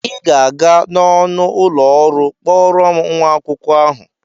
Ị ga-aga n'ọnụ ụlọ ọrụ kpọọrọ m nwa akwụkwọ ahụ!